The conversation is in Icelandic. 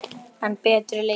enn betri leikur.